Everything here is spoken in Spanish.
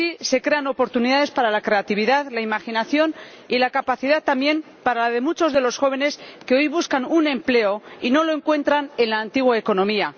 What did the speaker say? Así se crean oportunidades para la creatividad, la imaginación y la capacidad y, también, para muchos de los jóvenes que hoy buscan un empleo y no lo encuentran en la antigua economía.